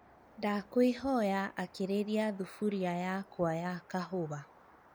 ndakwīhoya akīrīria thubūria yakwa ya kahūwa